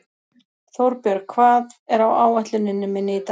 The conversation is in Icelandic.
Þórbjörg, hvað er á áætluninni minni í dag?